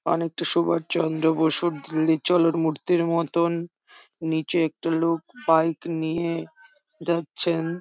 অনেক টা সুবা চন্দ্র বসুর মূর্তির মতন নিচে একটা লোক বাইক নিয়ে যাচ্ছেন।